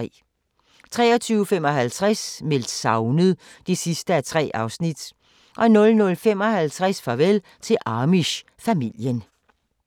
23:55: Meldt savnet (3:3) 00:55: Farvel til Amish-familien